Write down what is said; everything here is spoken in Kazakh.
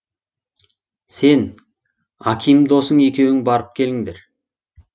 сен аким досың екеуің барып келіңдер